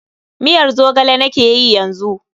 Miyar Zogale nakeyi yanzu.